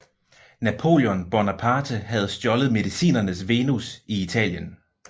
Napoléon Bonaparte havde stjålet Mediciernes Venus i Italien